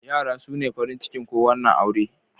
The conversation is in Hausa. Yara sune farin cikin ko wanna aure.